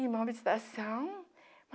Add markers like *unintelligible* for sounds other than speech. Irmão *unintelligible*